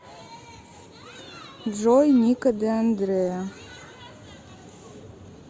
джой нико де андреа